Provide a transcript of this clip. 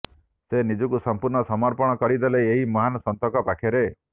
ସେ ନିଜକୁ ସଂପୂର୍ଣ୍ଣ ସମର୍ପଣ କରିଦେଲେ ଏହି ମହାନ ସନ୍ଥଙ୍କ ପାଖରେ